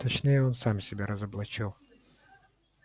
точнее он сам себя разоблачил